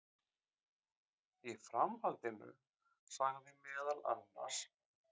Í framhaldinu sagði meðal annars